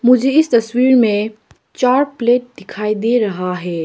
मुझे इस तस्वीर में चार प्लेट दिखाई दे रहा है।